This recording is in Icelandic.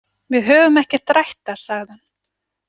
Við höfum ekki rætt það, sagði hann.